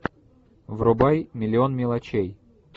врубай миллион мелочей